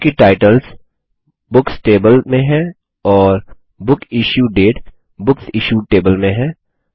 चूँकि टाइटल्सशीर्षक books table में हैं और book issue date books issued table में है